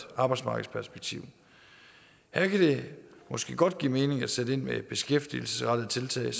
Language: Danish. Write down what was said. arbejdsmarkedsperspektiv her kan det måske godt give mening at sætte ind med et beskæftigelsesrettet tiltag